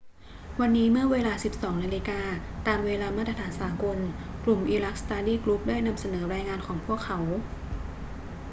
วันนี้เมื่อเวลา 12.00 น ตามเวลามาตรฐานสากล กลุ่ม iraq study group ได้นำเสนอรายงานของพวกเขา